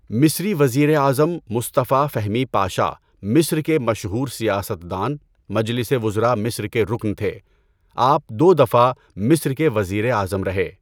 مصری وزیر اعظم مصطفىٰ فہمی پاشا مصر کے مشہور سیاستدان، مجلس وزراء مصر کے رکن تھے۔ آپ دو دفعہ مصر کے وزیر اعظم رہے۔